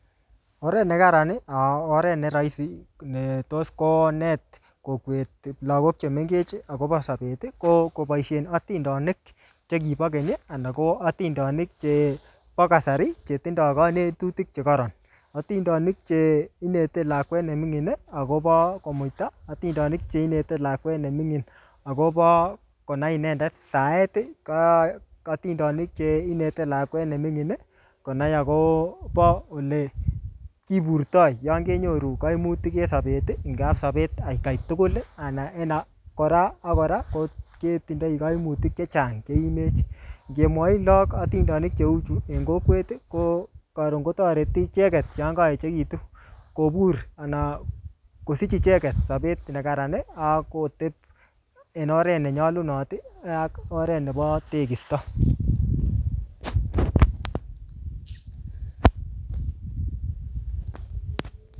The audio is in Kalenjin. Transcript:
Oret ne kararan ago oret ne raisi netos konet kokwet lagok chemeng agobo sobet kokoboisien atindonik che kibokeny ana ko atindonik chebo keny chetindo kanetutik che kororon. Atindonik che inete lakwet ne mingin agobo komuita. Atindonik che inete lakwet nemingin agobo konai inendet saet. Atindonik che inete lakwet nemingin konai agobo olekiburto yon kenyoru kaimutik en sobet ngap sobet atkai tugulana en kora ak kora ketindoi kaimutik che chang che imech. Ngemwoi loog atindonik che uchu eng kokwet, karun kotoreti ichekget yon koechegitun kobur ana kosich icheget sobet nekararan ana ak koteb en oret nenyalunot ak oret nebo tekisto